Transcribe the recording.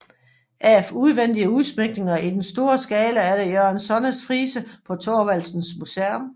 Af udvendige udsmykninger i den store skala er der Jørgen Sonnes frise på Thorvaldsens Museum